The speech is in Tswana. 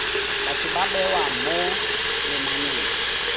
batho ba bewa mo lenaneng